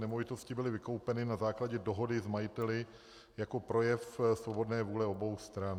Nemovitosti byly vykoupeny na základě dohody s majiteli jako projev svobodné vůle obou stran.